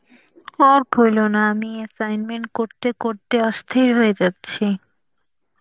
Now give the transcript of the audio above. আর বইলো না, আমি assignment করতে করতে অস্থির হয়ে যাচ্ছি.